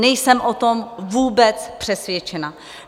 Nejsem o tom vůbec přesvědčena.